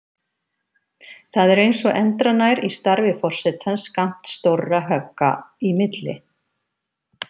Það er eins og endranær í starfi forsetans skammt stórra högga í milli.